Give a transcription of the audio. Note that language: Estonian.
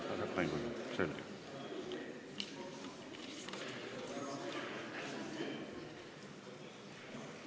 Selge.